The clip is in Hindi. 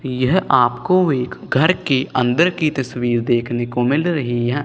यह आपको एक घर के अंदर की तस्वीर देखने को मिल रही है।